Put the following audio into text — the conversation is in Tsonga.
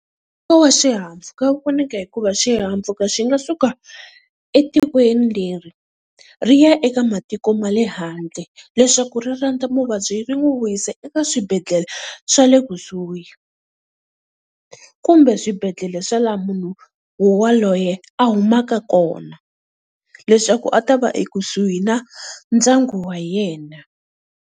Nkoka wa xihahampfhuka wu vonaka hikuva xihahampfhuka xi nga suka etikweni leri, ri ya eka matiko ma le handle leswaku ri landza muvabyi ri n'wi vuyisa eka swibedhlele swa le kusuhi. Kumbe swibedhlele swa laha munhu wowaloye a humaka kona leswaku a ta va ekusuhi na ndyangu wa yena.